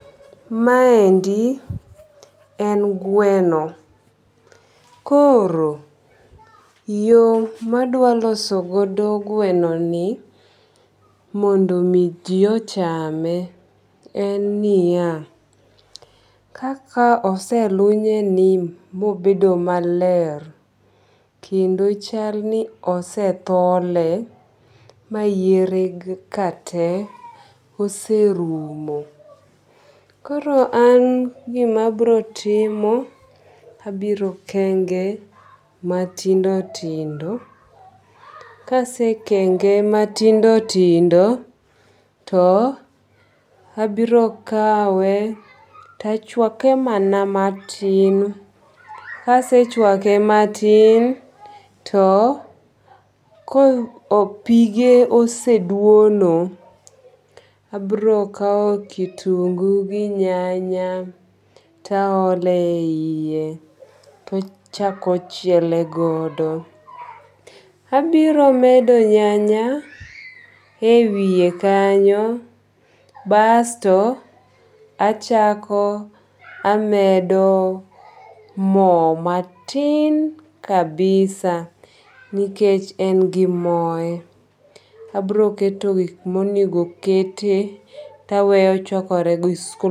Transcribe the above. Maendi en gweno, koro yo ma adwa loso godo gwenoni mondo mi ji ochame en niya. Kaka oselunyeni mobedo maler, kendo chalni ose thole ma yiere ka te oserumo. Koro an gima abiro timo abiro kenge matindo tindo. Ka asekenge matindo tindo to abiro kawe to achuake mana matin. Ka asechuake matin to kapige oseduono, abiro kawo kitungu gi nyanya to aolo eiye, to achako c hiele godo. Abiro medo nyanya ewiye kanyo basto achako amedo mo matin kabisa nikech en gimore. Abiro keto gik ma onego okete to aweye ochuakore gi su